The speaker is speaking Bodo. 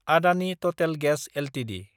Adani Total gas Ltd